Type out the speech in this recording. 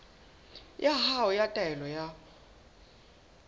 ya hao ya taelo ya